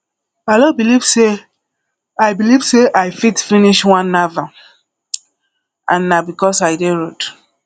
i no believe say i believe say i fit finish one novel and na because i dey road